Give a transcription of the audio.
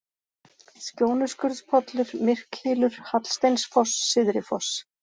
Skjónuskurðspollur, Myrkhylur, Hallsteinsfoss, Syðrifoss